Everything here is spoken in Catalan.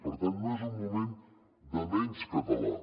per tant no és un moment de menys català